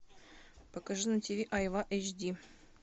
покажи на тв айва эйч ди